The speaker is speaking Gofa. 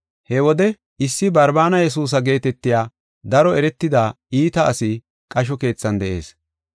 He wode issi Barbaana Yesuusa geetetiya daro eretida iita asi qasho keethan de7ees.